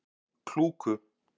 Klúku